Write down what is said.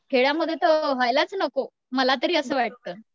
खेड्यामध्ये तर व्हायलाच नको मला तरी असं वाटतं.